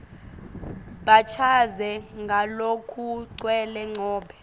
bachaze ngalokugcwele nobe